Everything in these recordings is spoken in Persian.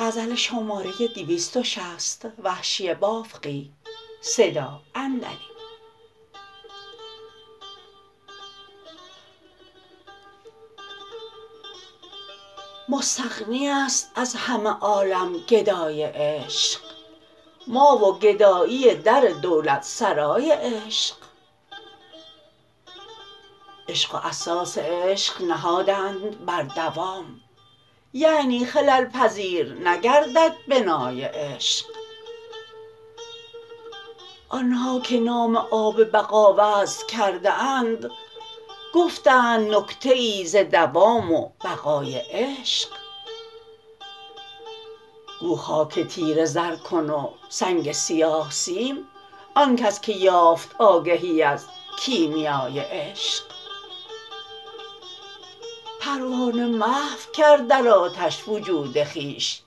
مستغنی است از همه عالم گدای عشق ما و گدایی در دولتسرای عشق عشق و اساس عشق نهادند بر دوام یعنی خلل پذیر نگردد بنای عشق آنها که نام آب بقا وضع کرده اند گفتند نکته ای ز دوام و بقای عشق گو خاک تیره زر کن و سنگ سیاه سیم آنکس که یافت آگهی از کیمیای عشق پروانه محو کرد در آتش وجود خویش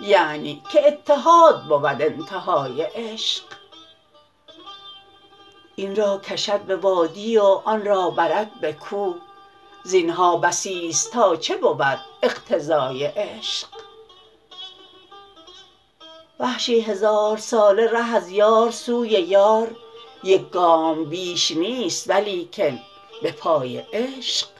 یعنی که اتحاد بود انتهای عشق اینرا کشد به وادی و آنرا برد به کوه زینها بسی ست تا چه بود اقتضای عشق وحشی هزار ساله ره از یار سوی یار یک گام بیش نیست ولیکن به پای عشق